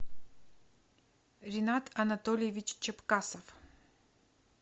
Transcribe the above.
ринат анатольевич чепкасов